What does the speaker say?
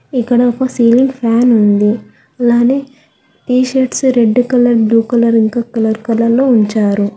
ఇక్కడ ఒక ceiling fan T shirts red colour blue colour ఇంకా కలర్ లో ఉంచారు.